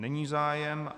Není zájem.